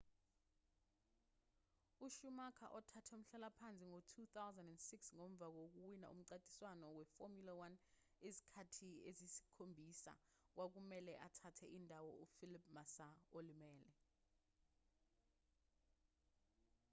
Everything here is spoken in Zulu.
ushumacher othathe umhlalaphansi ngo-2006 ngomva kokuwina umncintiswano weformula 1 izikhathi eziyisikhombisa kwakumelwe athathele indawo ufelipe massa olimele